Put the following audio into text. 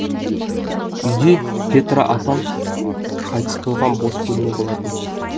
үйде петра апам қайтыс болған бос бөлме болатын